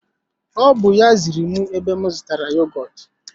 O bú ya ziri m ebe m zụtara yogọtu